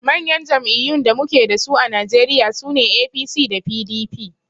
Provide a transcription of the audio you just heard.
Manyan jam'iyyun da muke dasu a Najeriya sune APC da PDP